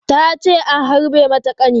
Ta ce an harbe mata ƙani.